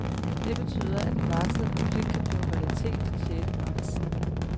Det betyder, at den varslede konflikt kan blive en realitet den sjette marts.